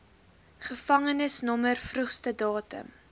gevangenisnommer vroegste datum